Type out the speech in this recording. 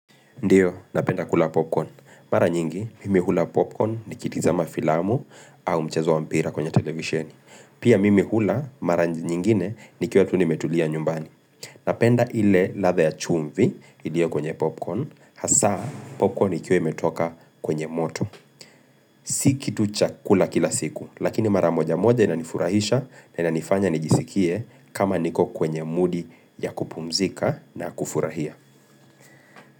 Ndio, napenda kula popcorn. Mara nyingi, mimi hula popcorn nikitizama filamu au mchezo wa mpira kwenye televisheni. Pia mimi hula, mara nyingine nikiwa tu nimetulia nyumbani. Napenda ile ladha ya chumvi iliyo kwenye popcorn, hasa popcorn ikiwa imetoka kwenye moto. Si kitu cha kula kila siku, lakini mara moja moja inanifurahisha na inanifanya nijisikie kama niko kwenye mudi ya kupumzika na kufurahia.